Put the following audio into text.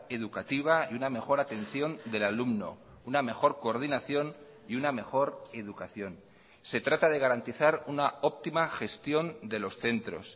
educativa y una mejor atención del alumno una mejor coordinación y una mejor educación se trata de garantizar una óptima gestión de los centros